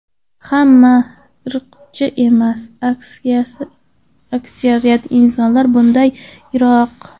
Hamma ham irqchi emas, aksariyat insonlar bundan yiroq.